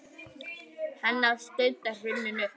Hennar stund er runnin upp.